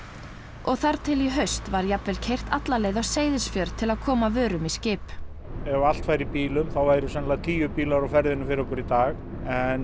og þar til í haust var jafnvel keyrt alla leið á Seyðisfjörð til að koma vörum í skip ef allt færi í bílum þá væru líklega tíu bílar á ferðinni fyrir okkur í dag en